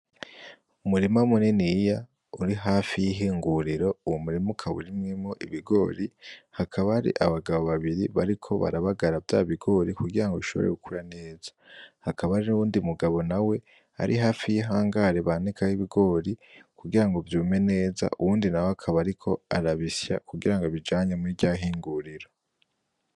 Umurima muniniya uri hafi y'ihinguriro, uwo murima ukaba urimyemwo ibigori, hakaba hari abagabo babiri bariko barabagara vyabigori kugira ngo bishobore gukura neza. Hakaba hariho uwundi mugabo nawe ari hari y'ihangare banikaho ibigori, kugira ngo vyume neza, uwundi nawe akaba ariko arabisya kugira ngo abijane muri rya hinguriro.